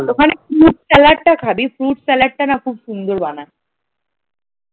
ওখানে fruit salad টা খাবে, fruit salad টা না খুব সুন্দর বানায়।